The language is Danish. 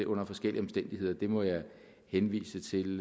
under forskellige omstændigheder må jeg henvise til